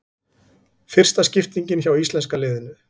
Fyrsta skiptingin hjá íslenska liðinu